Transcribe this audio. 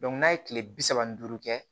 n'a ye kile bi saba ni duuru kɛ